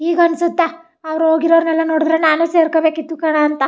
ಈಗ ಅನ್ನಸುತ್ತಾ ಅವ್ರು ಹೋಗಿರವ್ರನ್ ಎಲ್ಲಾ ನೋಡಿದ್ರೆ ನಾನು ಸೇರ್ಕೋಬೇಕಿತ್ತು ಕಣ ಅಂತ.